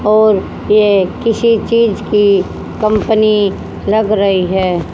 और ये किसी चीज की कंपनी लग रही है।